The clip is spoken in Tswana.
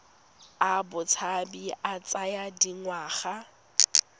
a botshabi a tsaya dingwaga